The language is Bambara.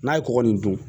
N'a ye kɔgɔ nin dun